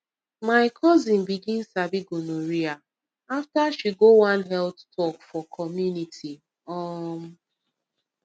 my cousin begin sabi gonorrhea after she go one health talk for community um